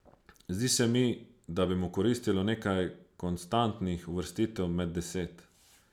Zdi se mi, da bi mu koristilo nekaj konstantnih uvrstitev med deset.